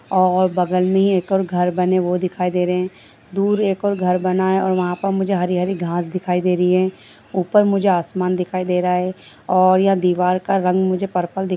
और बगल में एक और घर बने है वो दिखाई दे रहे है दूर एक और घर बना है वहां पर मुझे हरी-हरी घास दिखाई दे रही है ऊपर मुझे आसमान दिखाई दे रहा है और यह दीवार का रंग मुझे पर्पल दि --